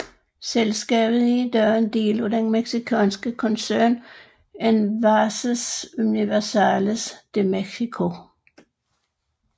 Selskabet er i dag en del af den mexikanske koncern Envases Universales de México